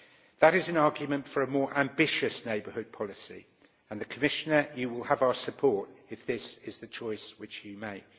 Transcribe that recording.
That is an argument for a more ambitious neighbourhood policy. Commissioner, you will have our support if this is the choice you make.